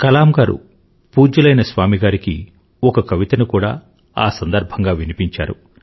కలాం గారు పూజ్యులైన స్వామి గారికి ఒక కవితను కూడా ఆ సందర్భంగా వినిపించారు